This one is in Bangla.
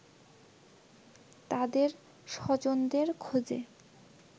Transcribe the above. তাদের স্বজনদের খোঁজে